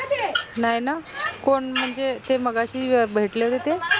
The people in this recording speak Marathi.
नाई न कोन म्हनजे ते मघाशी भेटले होते ते?